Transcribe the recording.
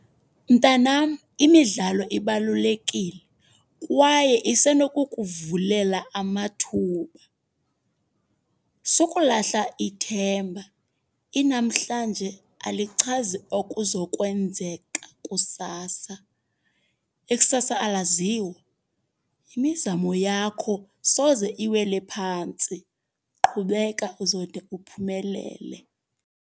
Mntanam, imidlalo ibalulekile kwaye isenokukuvulela amathuba. Sukulahla ithemba, inamhlanje alichazi okuzokwenzeka kusasa. Ikusasa alaziwa, imizamo yakho soze iwele phantsi. Qhubeka uzode uphumelele.